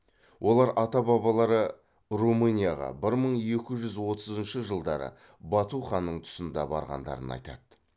олар ата бабалары румынияға бір мың екі жүз отызыншы жылдары бату ханның тұсында барғандарын айтады